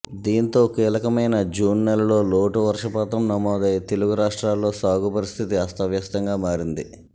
దీంతో కీలకమైన జూన్ నెలలో లోటు వర్షపాతం నమోదై తెలుగు రాష్ట్రాల్లో సాగు పరిస్థితి అస్తవ్యస్తంగా మారింది